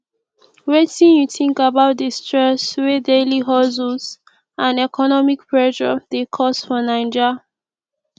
wetin you think about di stress wey daily hustles and economic pressure dey cause for naija